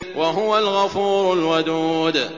وَهُوَ الْغَفُورُ الْوَدُودُ